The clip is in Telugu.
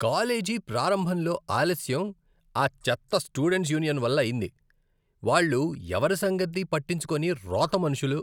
కాలేజీ ప్రారంభంలో ఆలస్యం ఆ చెత్త స్టూడెంట్స్ యూనియన్ వల్ల అయింది, వాళ్ళు ఎవరి సంగతి పట్టించుకోని రోత మనుషులు.